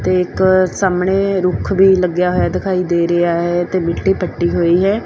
ਤੇ ਇੱਕ ਸਾਹਮਣੇ ਰੁੱਖ ਵੀ ਲੱਗਿਆ ਹੋਇਆ ਦਿਖਾਈ ਦੇ ਰਿਹਾ ਹੈ ਤੇ ਮਿੱਟੀ ਪੱਟੀ ਹੋਈ ਹੈ।